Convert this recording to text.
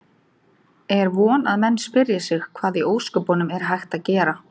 Er von að menn spyrji sig: Hvað í ósköpunum er hægt að gera?